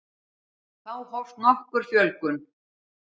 Þá hófst nokkur fjölgun.